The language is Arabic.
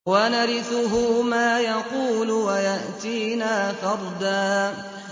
وَنَرِثُهُ مَا يَقُولُ وَيَأْتِينَا فَرْدًا